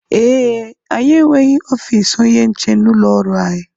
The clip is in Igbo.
Ee, anyị enweghị ofiisi onye nche n'ụlọọrụ anyị